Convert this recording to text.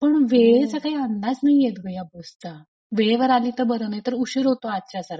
पण वेळेचा काही अंदाज नाही येत ग या बसचा. वेळेवर आली तर बरं नाहीतर उशीर होतो आजच्या सारखा.